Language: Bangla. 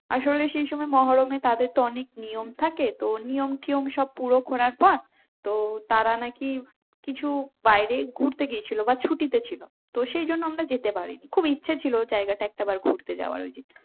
আসলে সেই সময় মহরম এ তাদের তো অনেক নিয়ম থাকে তো নিয়ম টিয়ম সব পুরো করার পর তো তারা নাকি কিছু বাইরে ঘুরতে গিয়েছিল বা ছুটিতে ছিল তো সেই জন্য আমরা যেতে পারিনি খুব ইচ্ছে ছিল জায়গাটা একটা বার ঘুরতে যাওয়ার